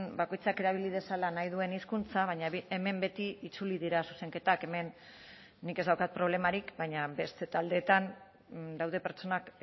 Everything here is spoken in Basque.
bakoitzak erabili dezala nahi duen hizkuntza baina hemen beti itzuli dira zuzenketak hemen nik ez daukat problemarik baina beste taldeetan daude pertsonak